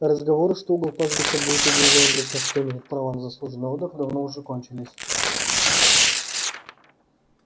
разговоры что угол пастбища будет отведён для тех кто имеет право на заслуженный отдых давно уже кончились